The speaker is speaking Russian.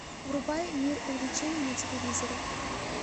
врубай мир увлечений на телевизоре